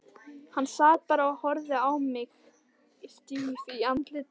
Sat bara og horfði á mig stíf í andliti.